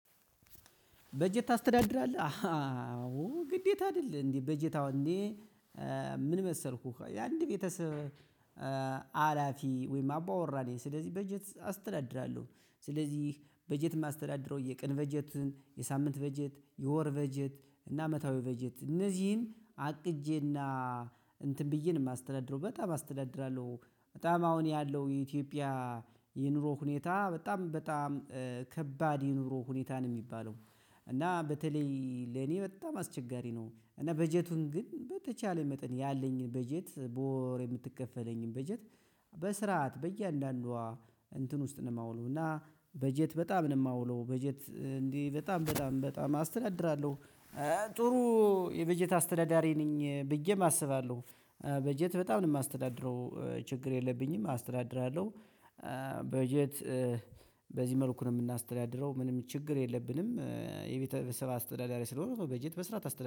በጀት ታስተዳድራለህ አዎ ግዴታ አይደል እንዴ በጀት አሁን እንዴ ምን መሰልኩኝ የአንድ ቤተሰብ ሀላፊ ወይም አባወራ ነኝ ስለዚህ በጀት አስተዳድራለሁ ስለዚህ በጀት የማስተዳድረው የቀን በጀትን የሳምንት በጀት የወር በጀት እና አመታዊ በጀት እነዚህን አቅጄና እንትን ብዬ ነው የማስተዳድረው በጣም አስተዳድራለሁ በጣም አሁን ያለው የኢትዮጵያ የኑሮ ሁኔታ በጣም በጣም ከባድ የኑሮ ሁኔታ ነው የሚባለው እና በተለይ ለኔ በጣም አስቸጋሪ ነው እና በጀቱን ግን በተቻለኝ መጠን ያለኝን በጀት በወር የምትከፈለኝን በጀት በስርዓት በእያንዳንዷ እንትን ውስጥ ነው የማውለው እና በጀት በጣም ነው የማውለው በጀት እንዴ በጣም በጣም በጣም አስተዳድራለሁ ጥሩ የበጀት አስተዳዳሪ ነኝ ብዬም አስባለሁ በጀት በጣም ነው የማስተዳድረው ችግር የለብኝም አስተዳድራለሁ። በጀት በዚህ መልኩን የምናስተዳድረው ምንም ችግር የለብንም የቤተ ሰብ አስተዳዳሪ ስለሆንኩ በጀት በስርዓት አስተዳድ